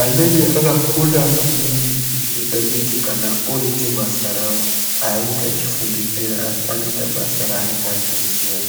anenge akufunda maningi zvinoita kuti kana oite basa rawo aiti echifungidzira asi anoita basa raanenge achiziya.